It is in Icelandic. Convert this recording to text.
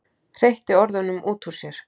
Hreytti orðunum út úr sér.